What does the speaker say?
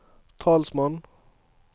talsmann